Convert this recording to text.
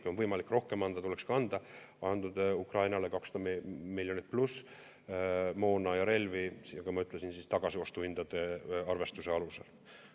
Kui on võimalik rohkem anda, tuleks anda Ukrainale 200 miljonit pluss moona ja relvi, nagu ma ütlesin, tagasiostuhindade arvestuse alusel.